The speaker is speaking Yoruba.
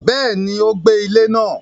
Béèni, o gbé ilé náà